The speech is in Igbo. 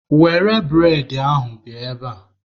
Were bụredị ahụ bịa ebea!